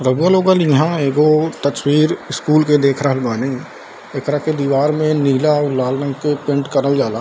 रउवा लोगन इहां एगो तस्वीर स्कूल के देख रहल बानी एकरा के दीवार में नीला और लाल रंग के पेंट करल जाला।